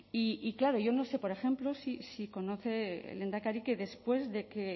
y claro yo no sé por ejemplo si conoce el lehendakari que después de que